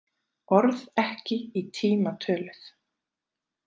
Orð ekki í tíma töluð